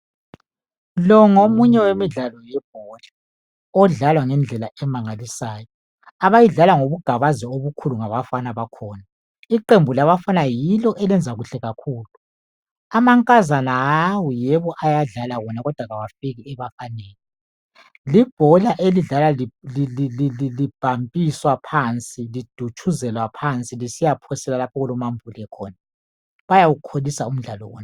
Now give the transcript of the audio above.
Lo ngomunye wemidlalo yebhola, odlalwa ngendlela emangalisayo. Abayidlala ngobugabazi obukhulu ngabafana bakhona. Iqembu labafana yilo elenza kuhle kakhulu. Amankazana hawu! yebo ayadlala wona, kodwa abafiki ebafaneni. Libhola elidlalwa libhampiswa phansi, lidutshuzelwa phansi lisiyaphoselwa lapho okulo mambule khona. Bayawukholisa umudlalo wona.